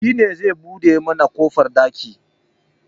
Shi ne zai buɗe mana kofar ɗakin